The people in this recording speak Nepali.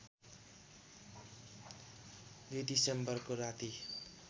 २ दिसम्बरको राती